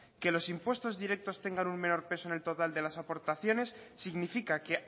que los impuestos directos tengan un menor peso en el total de las aportaciones significa que